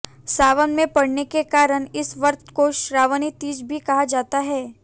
सावन में पड़ने के कारण इस व्रत को श्रावणी तीज भी कहा जाता है